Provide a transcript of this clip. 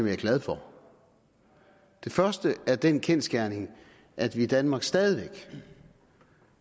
er glad for den første er den kendsgerning at vi i danmark stadig væk